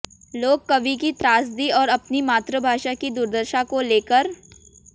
लोक कवि की त्रासदी और अपनी मातृभाषा की दुर्दशा को ले कर